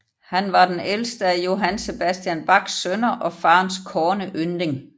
Han var den ældste af Johann Sebastian Bachs sønner og faderens kårne yndling